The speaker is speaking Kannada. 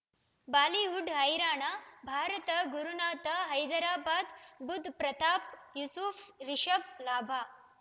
ಬಾಲಿವುಡ್ ಹೈರಾಣ ಭಾರತ ಗುರುನಾಥ ಹೈದರಾಬಾದ್ ಬುಧ್ ಪ್ರತಾಪ್ ಯೂಸುಫ್ ರಿಷಬ್ ಲಾಭ